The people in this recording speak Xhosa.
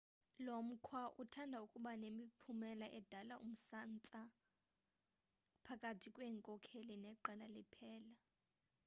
lomkhwa uthanda ukuba nemiphumela edala umsantsa phakathi kweenkokheli neqela liphela